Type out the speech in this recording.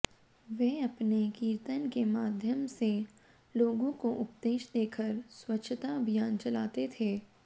वे अपने कीर्तन के माध्यम से लोगों को उपदेश देकर स्वच्छता अभियान चलाते थे